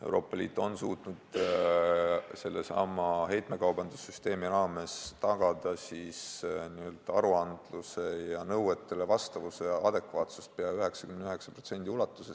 Euroopa Liit on sellesama heitekaubandussüsteemi raames suutnud tagada aruandluse ja nõuetele vastavuse adekvaatsuse pea 99% ulatuses.